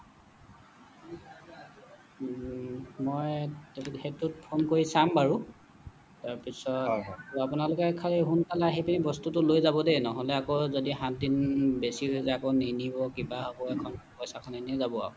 উম মই সেইটোত phone কৰি তাম বাৰু তাৰ পিছত আপোনালোকে খালি সোনকালে আহি বস্তুটো লৈ যাবদেই নহলে আকৌ যদি সাত দিন বেছি হৈ যায় আকৌ নিনিব কিবা হব এইখন পইচাখিনি এনেই যাব আৰু